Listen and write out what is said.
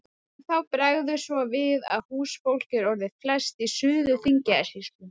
En þá bregður svo við að húsfólk er orðið flest í Suður-Þingeyjarsýslu.